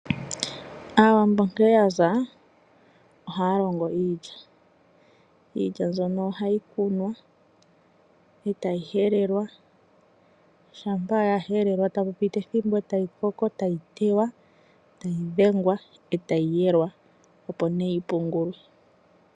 Aawambo nkene yaza ohaya longo iilya . Iilya mbyono ohayi kunwa etayi helelwa ,shampa ya helelwa ohapu piti ethimbo etayi koko etayi teywa etayi dhengwa etayi yelwa opo nee yipungulwe